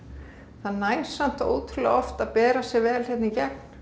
það nær samt ótrúlega oft að bera sig vel hérna í gegn